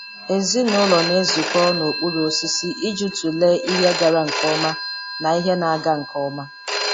Ezinụlọ na-ezukọ n'okpuru osisi iji tụlee ihe gara nke ọma na ihe na-aga nke ọma.